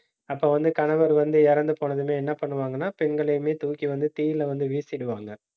அப்ப வந்து கணவர் வந்து இறந்து போனதுமே என்ன பண்ணுவாங்கன்னா பெண்களையுமே, தூக்கி வந்து தீயில வந்து வீசிடுவாங்க